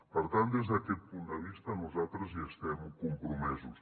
per tant des d’aquest punt de vista nosaltres hi estem compromesos